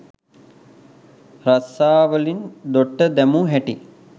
රස්සාවලින් දොට්ට දැමූ හැටි